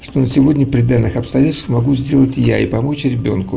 сегодня при данных обстоятельствах могу сделать я и помочь ребёнку